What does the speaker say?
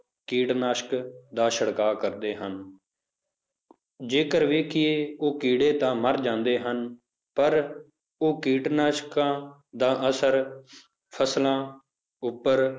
ਕੀਟਨਾਸ਼ਕ ਦਾ ਛਿੜਕਾਅ ਕਰਦੇ ਹਨ ਜੇਕਰ ਵੇਖੀਏ ਉਹ ਕੀੜੇ ਤਾਂ ਮਰ ਜਾਂਦੇ ਹਨ, ਪਰ ਉਹ ਕੀਟਨਾਸ਼ਕਾਂ ਦਾ ਅਸਰ ਫਸਲਾਂ ਉੱਪਰ,